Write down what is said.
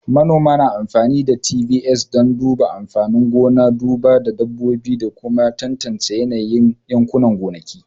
Manoma na amfani da ATVs don duba amfanin gona, duba dabbobi, da kuma tantance yanayin yankunan gonakin